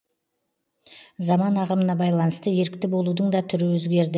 заман ағымына байланысты ерікті болудың да түрі өзгерді